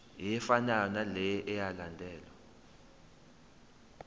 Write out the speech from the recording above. efanayo naleyo eyalandelwa